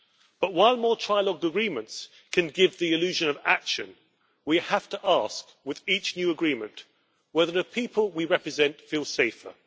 But while more trilogue agreements can give the illusion of action, we have to ask with each new agreement whether the people we represent feel safer